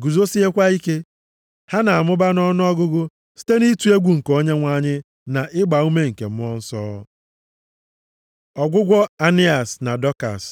guzosiekwa ike. Ha na-amụba nʼọnụọgụgụ site nʼịtụ egwu nke Onyenwe anyị na ịgbaume nke Mmụọ Nsọ. Ọgwụgwọ Ainias na Dọkas